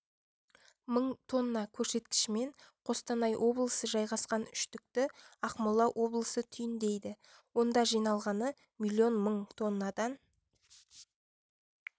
мың тонна көрсеткішімен қостанай облысы жайғасқан үштікті ақмола облысы түйіндейді онда жиналғаны млн мың тоннадан